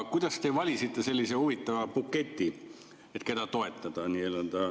Kuidas te valisite sellise huvitava buketi, et keda toetada?